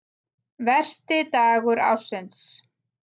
Versti dagur ársins